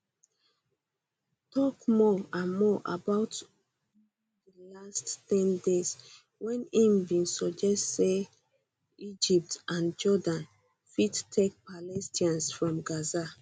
tok more and more about over di last ten days wen im bin suggest say egypt and jordan fit take palestinians from gaza